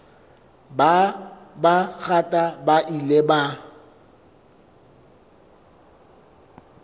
ba bangata ba ile ba